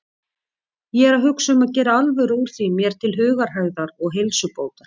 Ég er að hugsa um að gera alvöru úr því mér til hugarhægðar og heilsubótar.